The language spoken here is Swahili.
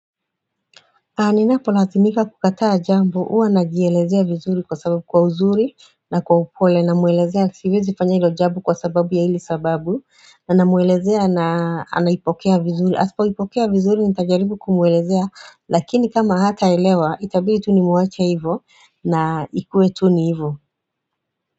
Ninapolazimika kukataa jambo huwa najielezea vizuri kwa sababu kwa uzuri na kwa upole na mwelezea siwezi fanya ilo jambo kwa sababu ya hili sababu na mwelezea na anaipokea vizuri asipo ipokea vizuri nita jaribu kumwelezea lakini kama hata elewa itabidi tu ni mwache hivyo na ikue tu ni hivyo.